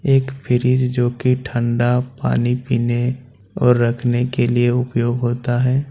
एक फ्रिज जोकि ठंडा पानी पीने और रखने के लिए उपयोग होता है।